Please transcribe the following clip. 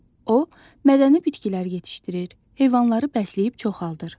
O, mədəni bitkilər yetişdirir, heyvanları bəsləyib çoxaldır.